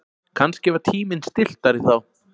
Kannski var tíminn stilltari þá.